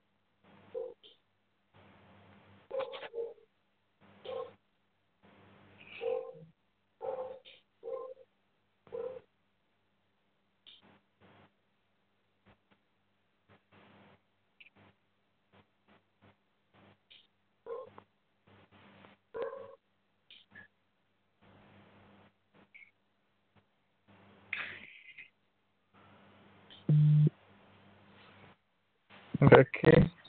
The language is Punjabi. ਦੇਖੀਂ।